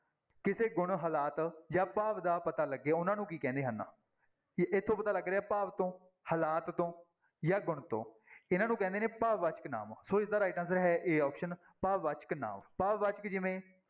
ਕਿਸੇ ਗੁਣ ਹਾਲਾਤ ਜਾਂ ਭਾਵ ਦਾ ਪਤਾ ਲੱਗੇ ਉਹਨਾਂ ਨੂੰ ਕੀ ਕਹਿੰਦੇ ਹਨ, ਇ ਇੱਥੋਂ ਤੋਂ ਪਤਾ ਲੱਗ ਰਿਹਾ ਭਾਵ ਤੋਂ, ਹਾਲਾਤ ਤੋਂ ਜਾਂ ਗੁਣ ਤੋਂ ਇਹਨਾਂ ਨੂੰ ਕਹਿੰਦੇ ਨੇ ਭਾਵਵਾਚਕ ਨਾਂਵ ਸੋ ਇਸਦਾ right answer ਹੈ a option ਭਾਵਵਾਚਕ ਨਾਂਵ, ਭਾਵਵਾਚਕ ਜਿਵੇਂ